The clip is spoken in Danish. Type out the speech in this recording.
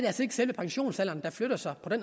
selve pensionsalderen der flytter sig det